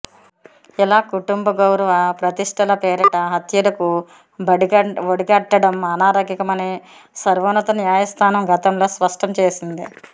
ఇలా కుటుంబ గౌరవ ప్రతిష్ఠల పేరిట హత్యలకు ఒడిగట్టడం అనాగరికమని సర్వోన్నత న్యాయస్థానం గతంలో స్పష్టం చేసింది